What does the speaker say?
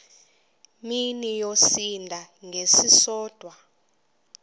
mini yosinda ngesisodwa